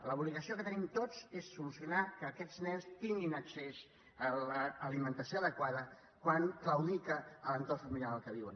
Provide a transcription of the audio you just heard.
l’obligació que tenim tots és solucionar que aquests nens tinguin accés a l’alimentació adequada quan claudica l’entorn familiar en què viuen